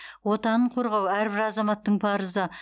отанын қорғау әрбір азаматтың парызы